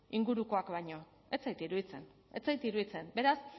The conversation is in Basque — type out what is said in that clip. ingurukoak baino ez zait iruditzen ez zait iruditzen beraz